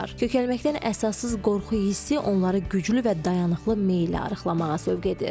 KöKəlməkdən əsassız qorxu hissi onları güclü və dayanıqlı meylə arıqlamağa sövq edir.